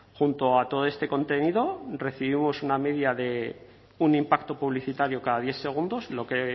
junto a todo este contenido recibimos una media de un impacto publicitario cada diez segundos lo que